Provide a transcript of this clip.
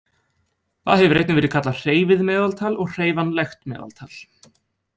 Það hefur einnig verið kallað hreyfið meðaltal og hreyfanlegt meðaltal.